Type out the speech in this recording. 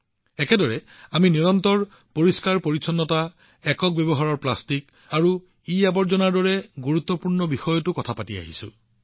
একেদৰে আমি নিৰন্তৰভাৱে ক্লীন ছিয়াচেন এবাৰ ব্যৱহৃত প্লাষ্টিক আৰু ইআৱৰ্জনাৰ দৰে গুৰুত্বপূৰ্ণ বিষয়ৰ বিষয়ে কথা পাতি আহিছো